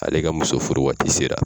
Ale ka muso furu waati sera.